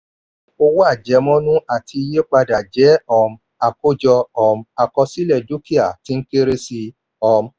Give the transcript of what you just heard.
owó àjemọ́nú àti iye padà jẹ́ um àákọ́jọ um àkọsílẹ̀ dúkìá tí ń kéré sí i. um